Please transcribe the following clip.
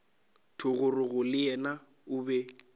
thogorogo le yena o be